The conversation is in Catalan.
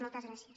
moltes gràcies